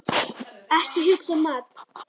Ekki hugsa um mat!